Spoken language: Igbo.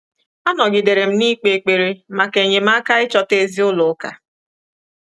Anọgidere m na-ikpe ekpere maka enyemaka ichọta ezi ụlọ ụka.